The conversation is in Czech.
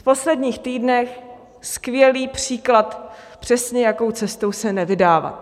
V posledních týdnech skvělý příklad, přesně, jakou cestou se nevydávat.